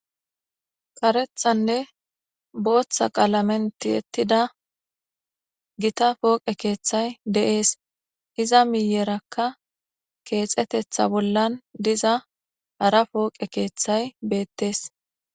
karethanne booththa qaalamen tiyettida gita pooqe keeththay de7es iza miyerakka keexetetha bollan diza hara pooqe keeththay beettees